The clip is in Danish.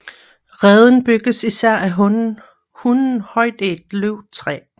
Reden bygges især af hunnen højt i et løvtræ